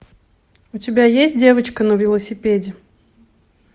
у тебя есть девочка на велосипеде